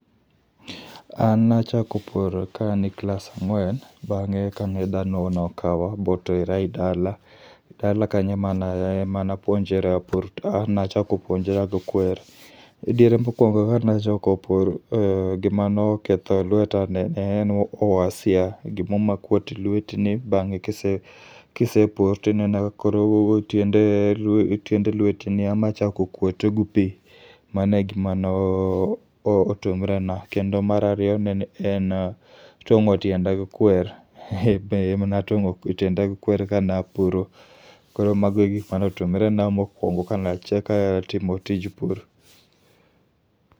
An nachako puro ka an e klas ang'wen, bang'e kane dhano nokawa botera e dala. Dala kanyo e mana e manapuonje rapur, nachako puonjora gi kwer. Diere mokwongo kanachako pur gima noketho lweta ne en uasia, gimo makuot e lweti ni bang'e kise, kise pur tineno ka tiende lweti ni ema chako kuot gi pi. Mane gima no otumre na, kendo marariyo nene en tong'o tienda gu kwer. Be emanatong'o tienda gi kwer ka na puro. Koro mago e gikma notumre na mokwongo kanachaka timo tij pur.